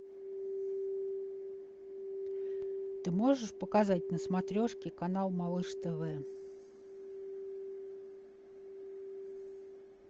ты можешь показать на смотрешке канал малыш тв